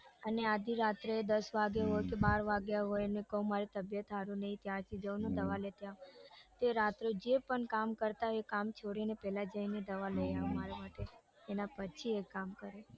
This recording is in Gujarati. અને આધિ રાત્રે દસ વાગ્યા હોય ને બાર વાગ્યા હોય કૌ મારી તબિયત સારી નથી ત્યાંથી કૌ દવા લેતા આવો તો રાત્રે જે પણ કામ કરતા હોય તે કામ છોડીને પેલા જઈને દવા લઈને આવે મારા માટે એના પછી એ કામ કરે